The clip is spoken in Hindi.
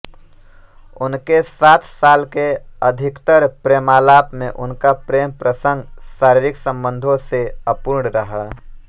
उनके सात साल के अधिकतर प्रेमालाप में उनका प्रेम प्रसंग शारीरिक संबंधों से अपूर्ण रहा